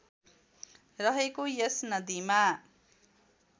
रहेको यस नदीमा